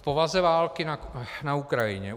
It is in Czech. K povaze války na Ukrajině.